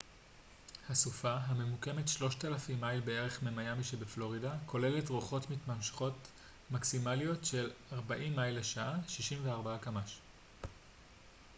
"הסופה הממוקמת 3,000 מייל בערך ממיאמי שבפלורידה כוללת רוחות מתמשכות מקסימליות של 40 מייל לשעה 64 קמ""ש.